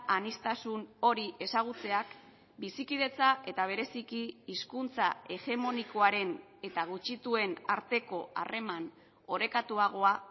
aniztasun hori ezagutzeak bizikidetza eta bereziki hizkuntza hegemonikoaren eta gutxituen arteko harreman orekatuagoa